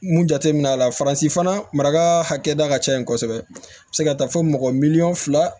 Mun jateminɛ la faransi fana marakada ka ca yen kosɛbɛ a bɛ se ka taa fɔ mɔgɔ miliyɔn fila